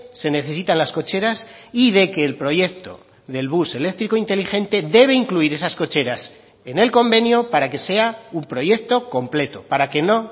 se necesitan las cocheras y de que el proyecto del bus eléctrico inteligente debe incluir esas cocheras en el convenio para que sea un proyecto completo para que no